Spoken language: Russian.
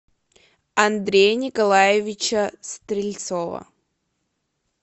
андрея николаевича стрельцова